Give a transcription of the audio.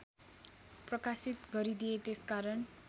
प्रकाशित गरिदिए त्यसकारण